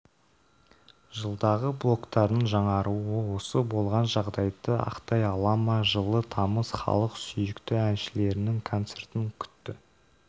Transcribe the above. жылдағы блогтардың жаңаруы осы болған жағдайды ақтай ала ма жылы тамыз халық сүйікті әншілерінің концертін күтті